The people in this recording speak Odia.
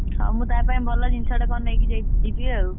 ହଁ ମୁଁ ତା ପାଇଁ ଭଲ ଜିନିଷଟେ କଣ ନେଇକି ଯା~ ଯିବି ଆଉ।